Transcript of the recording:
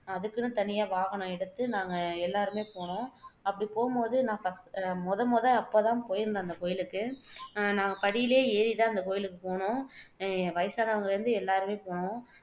அதுக்குன்னு தனியா வாகனம் எடுத்து நாங்க எல்லாருமே போனோம் அப்படி போகும் போது நான் ஃபர் முதன்முதல் அப்போ தான் போயிருந்தேன் அந்த கோயிலுக்கு அஹ் நான் படியிலயே ஏறி தான் அந்த கோயிலுக்கு போனோம் அஹ் வயசானவங்கல்ல இருந்து எல்லாருமே போனோம்